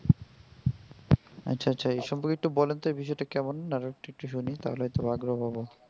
আচ্ছা আচ্ছা এই সম্পর্কে একটু বলেন তো এই বিষয়টা কেমন আর একটু একটু শুনি তাহলে হয় তো আগ্রহ পাবো.